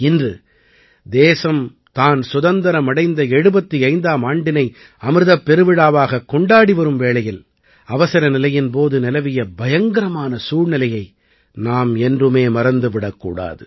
இன்று தேசம் தான் சுதந்திரம் அடைந்த 75ஆம் ஆண்டினை அமிர்தப் பெருவிழாவாகக் கொண்டாடி வரும் வேளையில் அவசரநிலையின் போது நிலவிய பயங்கரமான சூழ்நிலையை நாம் என்றுமே மறந்து விடக் கூடாது